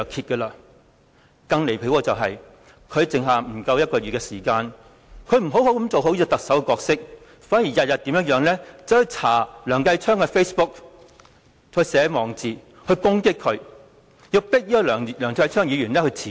更離譜的是，他的任期餘下不足1個月，不但沒有做好特首的角色，反而每天翻查梁繼昌議員的 Facebook， 並撰寫網誌攻擊他，迫使梁議員辭職。